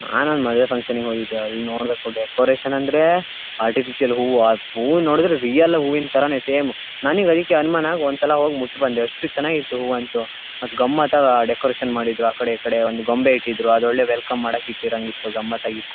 ನಾನು ಒಂದು ಮದುವೆ ಫಂಕ್ಷನ್ ಹೋಗಿದ್ದೆ ಅಲ್ಲಿ ನೋಡಬೇಕು ಡೆಕೋರೇಷನ್ ಅಂದ್ರೆ ಆರ್ಟಿಫಿಷಿಯಲ್ ಹೂವು. ಆ ಹೂವು ನೋಡಿದ್ರೆ ರಿಯಲ್ ಹೂವಿನ ತರನೇ ಸೇಮ್ ನನಗೆ ಅದಕ್ಕೆ ಅನುಮಾನ ಒಂದ ಸಲ ಹೋಗಿ ಮುಟ್ಟಿ ಬಂದೆ ಅಷ್ಟು ಚನ್ನಾಗಿತ್ತು ಹೂವು ಅಂತೂ ಮತ್ತೆ ಗಮ್ಮತಾಗಿ ಡೆಕೋರೇಷನ್ ಮಾಡಿದ್ರು. ಆ ಕಡೆ ಈಕಡೆ ಒಂದು ಗೊಂಬೆ ಇಟ್ಟಿದ್ರು ಅದೊಳ್ಳೆ ವೆಲ್ಕಮ್ ಇಟ್ಟಿರಂಗೇ ಇತ್ತು ಗಮ್ಮತ್ತಾಗಿ--